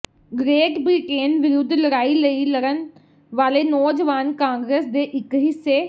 great Britain ਵਿਰੁੱਧ ਲੜਾਈ ਲਈ ਲੜਨ ਵਾਲੇ ਨੌਜਵਾਨ ਕਾਂਗਰਸ ਦੇ ਇਕ ਹਿੱਸੇ